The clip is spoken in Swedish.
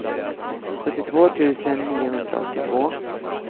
sjuttiotvå tusen niohundraåttiotvå